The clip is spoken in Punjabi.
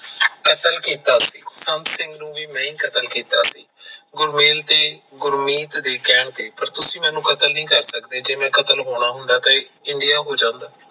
ਕਤਲ ਕੀਤਾ ਸੀ ਸੰਤ ਸਿੰਘ ਦਾ ਵੀ ਮੈਂ ਹੀ ਕਤਲ ਕੀਤਾ ਸੀ ਗੁਰਮੇਲ ਤੇ ਗੁਰਮੀਤ ਦੇ ਕਹਿਣ ਤੇ ਪਰ ਤੁਸੀਂ ਮੈਨੂ ਕਤਲ ਨਹੀਂ ਕਰ ਸਕਦੇ ਜੇ ਮੈਂ ਕਤਲ ਹੋਣਾ ਹੁੰਦਾ ਤਾਂ INDIA ਹੋ ਜਾਂਦਾ।